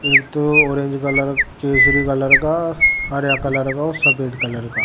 एक थो orange colour का केसरी कलर का हरा कलर का और सफेद कलर का --